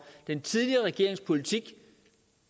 den tidligere regerings politik